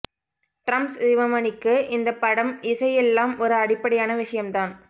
drums சிவமணிக்கு இந்தப் படம் இசை எல்லாம் ஒரு அடிப்படையான விஷயம்தான்